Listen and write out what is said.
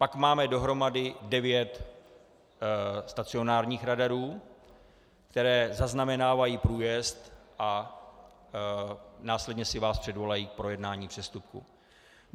Pak máme dohromady devět stacionárních radarů, které zaznamenávají průjezd a následně si vás předvolají k projednání přestupku.